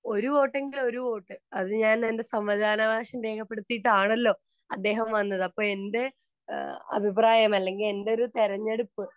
ഒരു വോട്ടെങ്കിൽ ഒരു വോട്ട് അത് ഞാൻ എൻ്റെ സമതദാന അവകാശം രേഖപ്പെടുത്തിയിട്ടാണല്ലോ അദ്ദേഹം വന്നത് അപ്പോ എൻ്റെ അഭിപ്രായം അല്ലെങ്കിൽ എൻ്റെ തിരഞ്ഞെടുപ്പ്